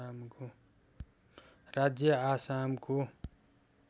राज्य आसामको